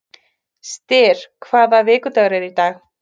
Styr, hvaða vikudagur er í dag?